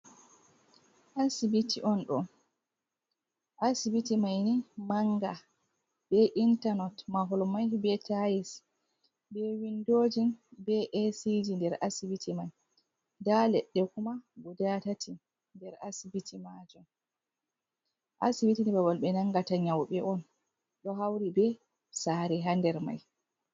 Asibiti on ɗo, asibiti may ni mannga be intanot, mahol may be tayis, be winndoji, be eesiji nder asibiti may. Ndaa leɗɗe kuma guda tati nder asibiti maajum. Asibiti ni babal ɓe nanngata nyawɓe on, ɗo hawri be saare haa nder may.